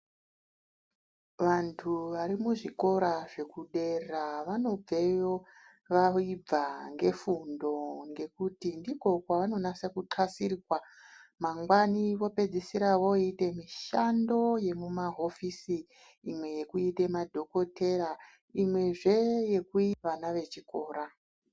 Vantu vari muzvikora zvekudera vanobveyo vayibva nefundo ngekuti ndiko kwavanonasa kukasirirwa mangwani vopedzisire voita mishando yemumahofisi imwe yekuita madhokodheya imwezve yekufundise vana vechikora.